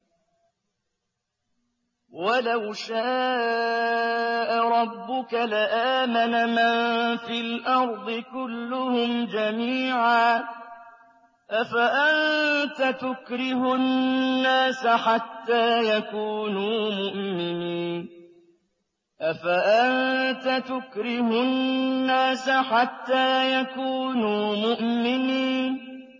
وَلَوْ شَاءَ رَبُّكَ لَآمَنَ مَن فِي الْأَرْضِ كُلُّهُمْ جَمِيعًا ۚ أَفَأَنتَ تُكْرِهُ النَّاسَ حَتَّىٰ يَكُونُوا مُؤْمِنِينَ